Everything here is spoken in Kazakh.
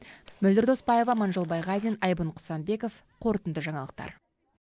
мөлдір доспаева аманжол байғазин айбын құсанбеков қорытынды жаңалықтар